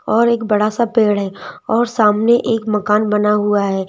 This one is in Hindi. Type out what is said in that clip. और एक बड़ा सा पेड़ है और सामने एक मकान बना हुआ है।